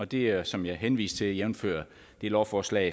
det er som jeg henviste til jævnfør lovforslag